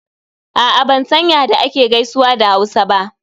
A'a ban san ya da ake gaisuwa a Hausa ba.